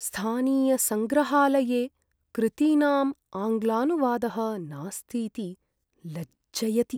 स्थानीयसङ्ग्रहालये कृतीनाम् आङ्ग्लानुवादः नास्तीति लज्जयति।